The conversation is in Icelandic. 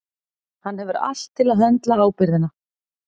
Hann hefur allt til að höndla ábyrgðina.